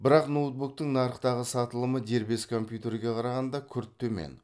бірақ ноутбуктың нарықтағы сатылымы дербес компьютерге қарағанда күрт төмен